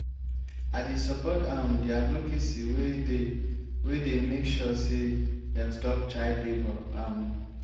i dey support um di advocacy wey dey wey dey make sure sey dem stop child-labour. um